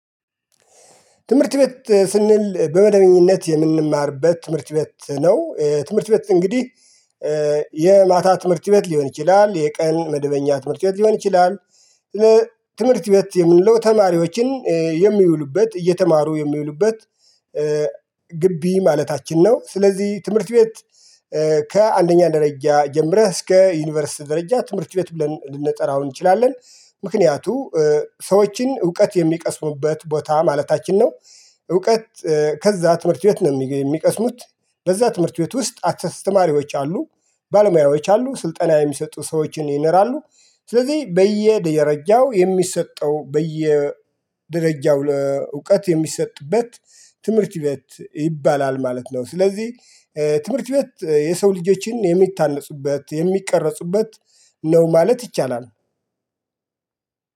ትምህርት ቤት ስንል በመደበኛነት የምንማርበት ትምህርት ቤት ነው ትምህርት ቤት እንግዲህ የማታ ትምህርት ቤት ሊሆን ይችላል የቀን መደበኛ ትምህርት ቤት ሊሆን ይችላል። ትምህርት ቤት የምንለው ተማሪዎችን የሚውሉበት እየተማሩ የሚውሉበት ግቢ ማለታችን ነው። ስለዚህ ትምህርት ቤት ከአንደኛ ደረጃ ጀምረህ እስከ ዩኒቨርስ ደረጃ ትምህርት ቤት ብለን ልንጠራው እንችላለን ምክንያቱ ሰዎችን እውቀት የሚቀስሙበት ቦታ ማለታችን ነው። እውቀት ከዛ ትምህርት ቤት ነው የሚቀስሙት በዛ ትምህርት ቤት ውስጥ አትስተማሪዎች አሉ። ባለሙያዎች አሉ ስልጠና የሚሰጡ ሰዎችን ይኖራሉ ስለዚህ በየደረጃው የሚሰጠው በየ ደረጃው እውቀት የሚሰጥበት ትምህርት ቤት ይባላል። ማለት ነው። ስለዚህ ትምህርት ቤት የሰው ልጆችን የሚታነፁበት የሚቀረፁበት ነው ማለት ይቻላል።